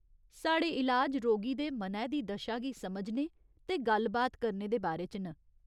साढ़े इलाज रोगी दे मनै दी दशा गी समझने ते गल्ल बात करने दे बारे च न।